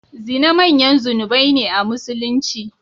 Zina manyan zunubai ne a Musulunci.